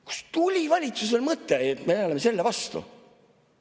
Kust tuli valitsusel mõte, et me oleme selle vastu?